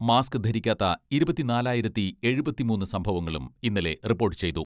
Mask ധരിക്കാത്ത ഇരുപത്തിനാലായിരത്തി എഴുപത്തിമൂന്ന് സംഭവങ്ങളും ഇന്നലെ റിപ്പോട്ട് ചെയ്തു.